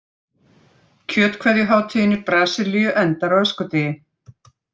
Kjötkveðjuhátíðin í Brasilíu endar á öskudegi.